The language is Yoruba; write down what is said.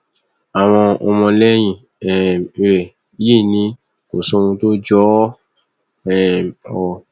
àwọn ọmọlẹyìn um rẹ yìí ni kò sóhun tó jọ ọ um o